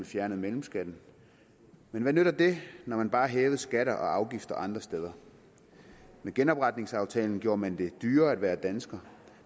fjernet mellemskatten men hvad nytter det når man bare har hævet skatter og afgifter andre steder med genopretningsaftalen gjorde man det dyrere at være dansker